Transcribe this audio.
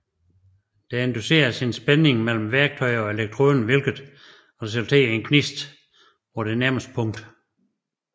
Der induceres en spænding mellem værtøjer og elektroden hvilket resulterer i en gnist på den nærmeste punkt